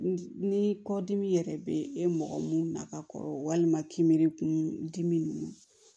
Ni kɔdimi yɛrɛ bɛ e mɔgɔ mun na ka kɔrɔ walima kinbiri kun dimi